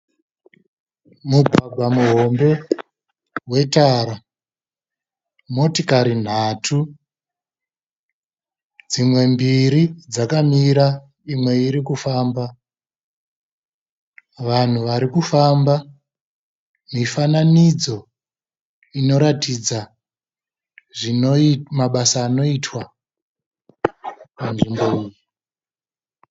Mugwagwa muhombe wetara. Motikari nhatu, dzimwe mbiri dzakamira imwe iri kufamba. Vanhu vari kufamba. Mifananidzo inoratidza mabasa anoitwa panzvimbo iyi.